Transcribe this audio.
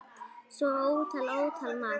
Svo ótal, ótal margt.